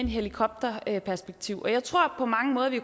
helikopterperspektiv jeg tror på mange måder vi